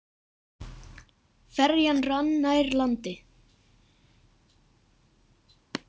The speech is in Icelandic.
Ferjan rann nær landi.